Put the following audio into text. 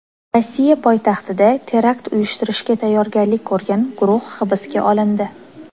Rossiya poytaxtida terakt uyushtirishga tayyorgarlik ko‘rgan guruh hibsga olindi.